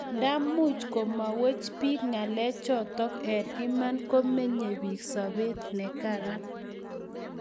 nda much komwaiwech piik ngalek chotok eng' iman komeny piik sobet ne karan